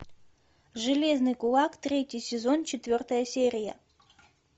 железный кулак третий сезон четвертая серия